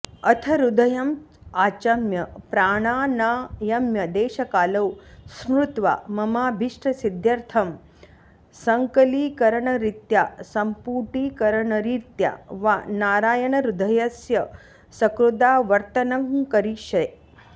अथ हृदयम् आचम्य प्राणानायम्य देशकालौ स्मृत्वा ममाभीष्टसिद्ध्यर्त्थं सङ्कलीकरणरीत्या सम्पूटीकरणरीत्या वा नारायणहृदयस्य सकृदावर्त्तनङ्करिष्ये